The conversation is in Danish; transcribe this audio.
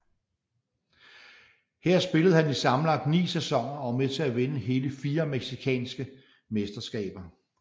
Her spillede han i sammenlagt ni sæsoner og var med til at vinde hele fire mexicanske mesterskaber